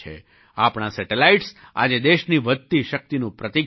આપણા સેટેલાઇટ્સ આજે દેશની વધતી શક્તિનું પ્રતીક છે